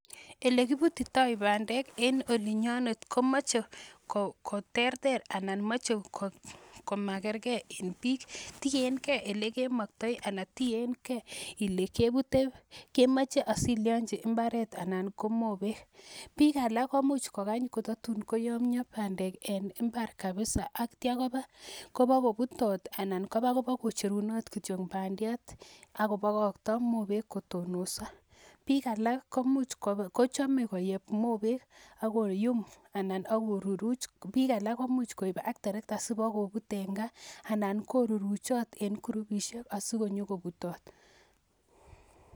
Ele kiputitoi bandek en olinyonet komoche koterter anan moche komakergei in biik tiengei ole kemoktoi anan tiengei ile kepute kemoche asilionjin mbaret anan ko mobek biik alak komuuch kokany kotatun koyomiyo bandek eng' imbar kabisa aktio kopikoputot anan koba kobo kocherunot kityo badiat akobokokto mobek kotononso biik alak komuuch kochomei koyep mobek akoyum anan akeruruch biik alak komuuch koip ak terekta sibokoput eng' kaa anan koruruchit en kurupishek asikoyokoputot